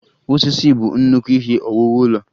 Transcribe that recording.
Osisi bụ nnukwu ihe owuwu ụlọ.